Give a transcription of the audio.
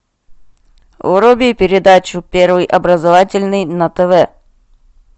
вруби передачу первый образовательный на тв